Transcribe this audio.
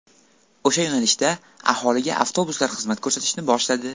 O‘sha yo‘nalishda aholiga avtobuslar xizmat ko‘rsatishni boshladi.